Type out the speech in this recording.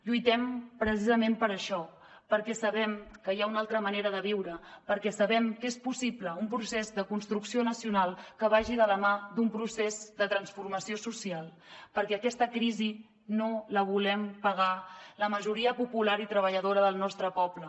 lluitem precisament per això perquè sabem que hi ha una altra manera de viure perquè sabem que és possible un procés de construcció nacional que vagi de la mà d’un procés de transformació social perquè aquesta crisi no la volem pagar la majoria popular i treballadora del nostre poble